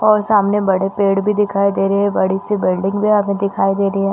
और सामने बड़े पेड़ भी दिखाई दे रहे है बड़ी सी बिल्डिंग भी यहाँ पे दिखाई दे रही हैं।